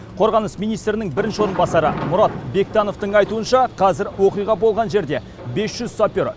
қорғаныс министрінің бірінші орынбасары мұрат бектановтың айтуынша қазір оқиға болған жерде бес жүз сапер